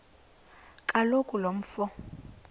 kaloku lo mfo